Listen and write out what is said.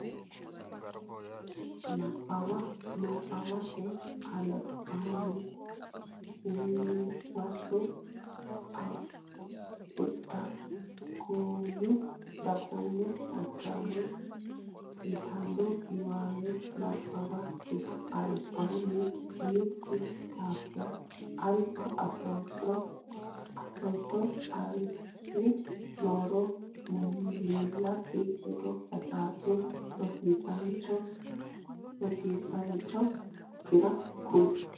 Nabbawa Nabbawate Albiidi Huwato Dagoomaho Hajama yitanno niwaawe nabbawakkira albaanni umi daafira alba affootto ari nooro miillakki ledo hasaabbe rosiisaanchi okkira kuli.